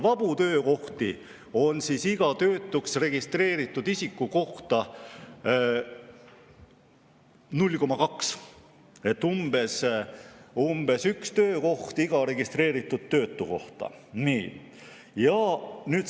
Vabu töökohti on iga töötuks registreeritud isiku kohta 0,2, umbes üks töökoht iga registreeritud töötu kohta.